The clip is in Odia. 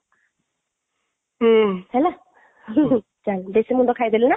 ହେଲା ବେଶୀ ମୁଣ୍ଡ ଖାଇ ଦେଲି ନା